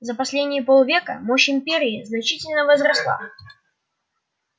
за последние пол века мощь империи значительно возросла